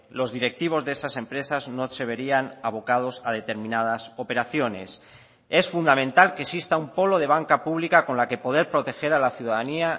los directivos de esas empresas no se verían abocados a determinadas operaciones es fundamental que exista un polo de banca pública con la que poder proteger a la ciudadanía